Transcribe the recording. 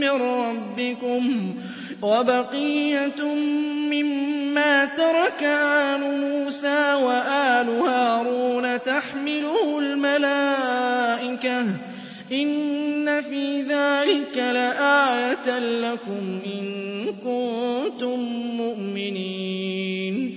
مِّن رَّبِّكُمْ وَبَقِيَّةٌ مِّمَّا تَرَكَ آلُ مُوسَىٰ وَآلُ هَارُونَ تَحْمِلُهُ الْمَلَائِكَةُ ۚ إِنَّ فِي ذَٰلِكَ لَآيَةً لَّكُمْ إِن كُنتُم مُّؤْمِنِينَ